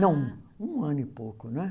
Não, um ano e pouco não é